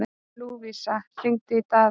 Lúvísa, hringdu í Daða.